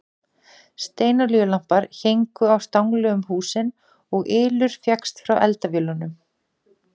Steinolíulampar héngu á stangli um húsin og ylur fékkst frá eldavélunum.